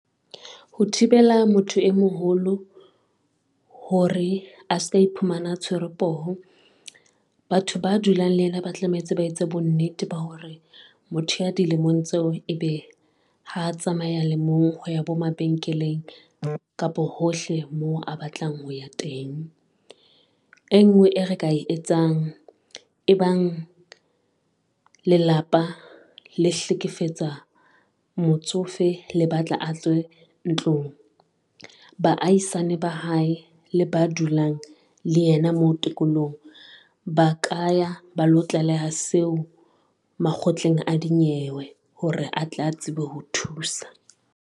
Ho thibela motho e moholo hore a ska iphumana tshwerwe poho. Batho ba dulang le ena ba tlametse ba etse bonnete ba hore motho ya dilemong tseo e be ha tsamaya le mong ho ya bo mabenkeleng, kapa hohle moo a batlang ho ya teng. E ngwe e re ka e etsang, e bang lelapa la hlekefetsa motsofe, le batla a tswe ntlong baahisane ba hae le ba dulang le yena, moo tikolohong ba ka, ya ba lo tlaleha seo makgotleng a dinyewe hore a tla tsebe ho thusa.